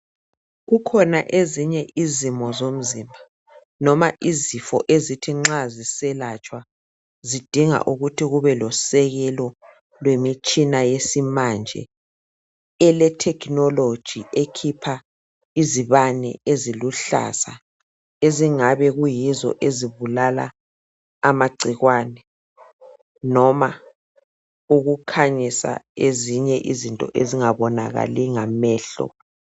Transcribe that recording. Kukhona ezinye izimo zomzimba noma izifo, ezithi nxa ziselatshwa zidinga ukuthi kube losekelo lwemitshina yesimanje ele technology, ekhipha izibane eziluhlaza ezingabe kuyizo ezibulala amagcikwane noma ukukhanyisa ezinye izinto ezingabonakali ngamehlo.